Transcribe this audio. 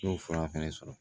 N y'o fura fɛnɛ sɔrɔ